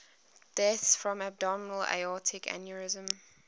deaths from abdominal aortic aneurysm